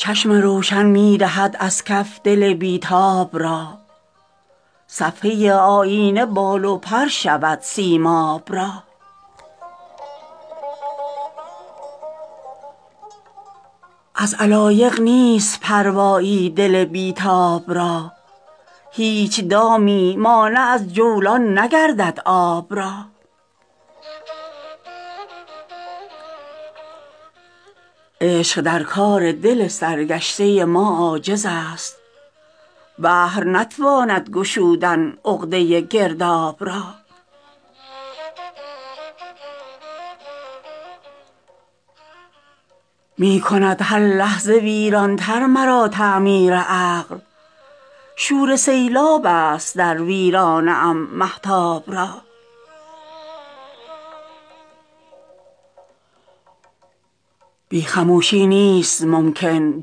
چشم روشن می دهد از کف دل بی تاب را صفحه آیینه بال و پر شود سیماب را از علایق نیست پروایی دل بی تاب را هیچ دامی مانع از جولان نگردد آب را عشق در کار دل سرگشته ما عاجز است بحر نتواند گشودن عقده گرداب را می کند هر لحظه ویران تر مرا تعمیر عقل شور سیلاب است در ویرانه ام مهتاب را بی خموشی نیست ممکن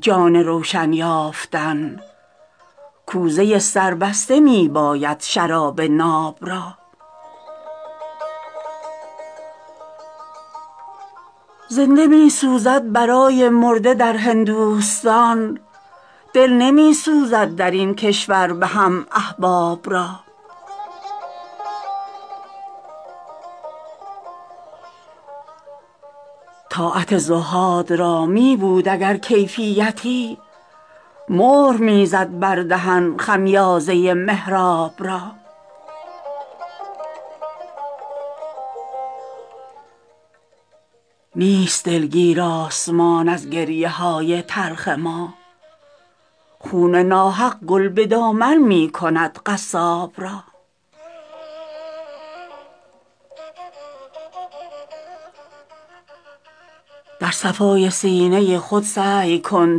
جان روشن یافتن کوزه سربسته می باید شراب ناب را زنده می سوزد برای مرده در هندوستان دل نمی سوزد درین کشور به هم احباب را طاعت زهاد را می بود اگر کیفیتی مهر می زد بر دهن خمیازه محراب را نیست دلگیر آسمان از گریه های تلخ ما خون ناحق گل به دامن می کند قصاب را در صفای سینه خود سعی کن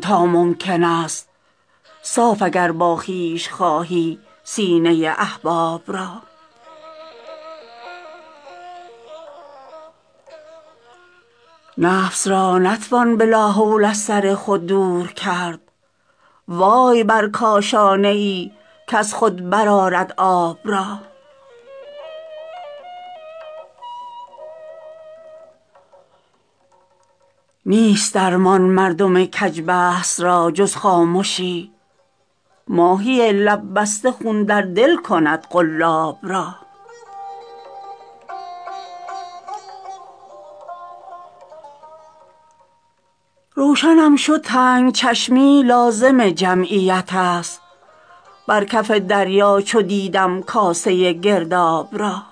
تا ممکن است صاف اگر با خویش خواهی سینه احباب را نفس را نتوان به لاحول از سر خود دور کرد وای بر کاشانه ای کز خود برآرد آب را نیست درمان مردم کج بحث را جز خامشی ماهی لب بسته خون در دل کند قلاب را روشنم شد تنگ چشمی لازم جمعیت است بر کف دریا چو دیدم کاسه گرداب را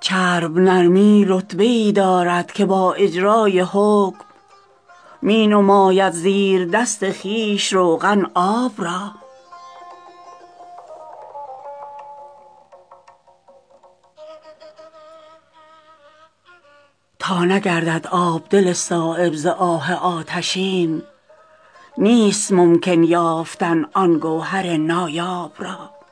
چرب نرمی رتبه ای دارد که با اجرای حکم می نماید زیر دست خویش روغن آب را تا نگردد آب دل صایب ز آه آتشین نیست ممکن یافتن آن گوهر نایاب را